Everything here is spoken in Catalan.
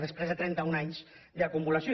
després de trenta un anys d’acumulació